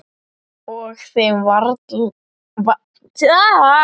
Og þeim var varla láandi.